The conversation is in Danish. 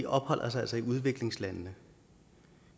opholder sig i udviklingslandene